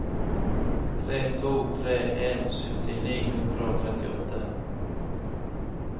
tre to tre en sytti ni hundre og trettiåtte